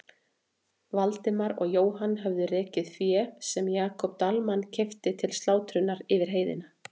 Valdimar og Jóhann höfðu rekið féð sem Jakob Dalmann keypti til slátrunar yfir heiðina.